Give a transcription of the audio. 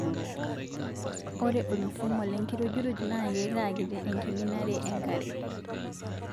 Ore ormfumo le nkirujuruj na keitaa kitii enkiminare enkare